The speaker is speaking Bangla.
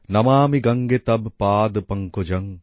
নমামি গঙ্গে তব্ পাদ্ পঙ্কজং